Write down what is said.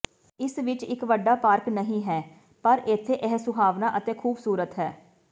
ਇਸ ਵਿੱਚ ਇੱਕ ਵੱਡਾ ਪਾਰਕ ਨਹੀਂ ਹੈ ਪਰ ਇੱਥੇ ਇਹ ਸੁਹਾਵਣਾ ਅਤੇ ਖੂਬਸੂਰਤ ਹੈ